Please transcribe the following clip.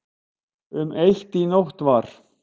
Um eitt í nótt var